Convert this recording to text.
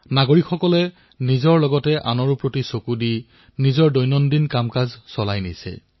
জনসাধাৰণে নিজৰ প্ৰতি ধ্যান ৰাখি আনৰ প্ৰতি ধ্যান ৰাখি দৈনন্দিন কৰ্মসমূহ সম্পাদন কৰিছে